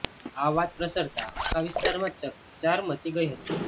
આ વાત પ્રસરતા આખા વિસ્તારમાં ચકચાર મચી ગઈ હતી